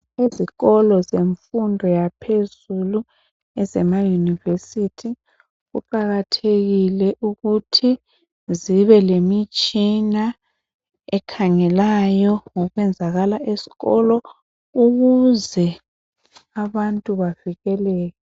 Izikolo zemfundo yaphezulu ezema yunivesithi kuqakathekile ukuthi zibe lemitshina ekhangelayo ngokwenzala esikolo ukuze abantu bavikeleke.